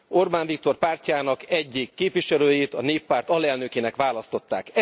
Orbán Viktor pártjának egyik képviselőjét a Néppárt alelnökének választották.